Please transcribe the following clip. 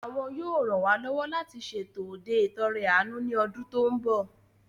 Àwọn yóò ran wá lọ́wọ́ láti ṣètò òde ìt'ọrẹ àánú ní ọdún tó mbọ̀